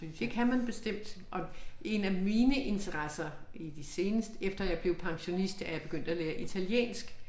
Det kan man bestemt og 1 af mine interesser i de seneste efter jeg blevet pensionist er jeg begyndt at lære italiensk